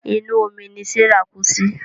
Inú omí ní Serah kú sí.